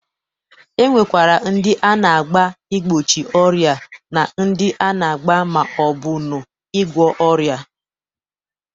E nwekwara ndị a na-agba igbochi ọrịa na ndị a na-agba ma ọ bụ ṅụ ịgwọ ọrịa.